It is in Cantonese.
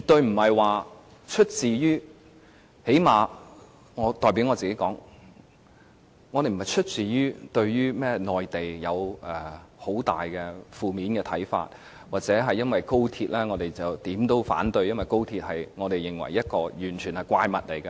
對不是——最少我代表我自己說——不是出於對內地有很大的負面看法，又或因為我們認為高鐵是怪物，凡是有關高鐵的便無論如何也要反對。